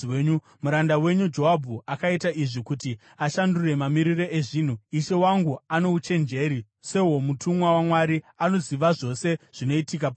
Muranda wenyu Joabhu akaita izvi kuti ashandure mamiriro ezvinhu. Ishe wangu ano uchenjeri sehwomutumwa waMwari, anoziva zvose zvinoitika panyika.”